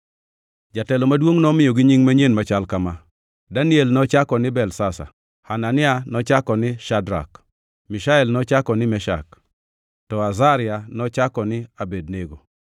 Jatelo maduongʼ nomiyogi nying manyien machal kama: Daniel nochako ni Belteshazar; Hanania nochako ni Shadrak; Mishael nochako ni Meshak; to Azaria nochako ni Abednego.